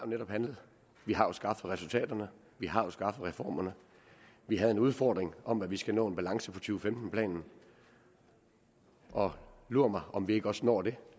netop handlet vi har skaffet resultaterne vi har skaffet reformerne vi havde en udfordring om at vi skal nå en balance på to femten planen og lur mig om vi ikke også når det